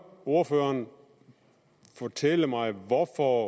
ordføreren fortælle mig hvorfor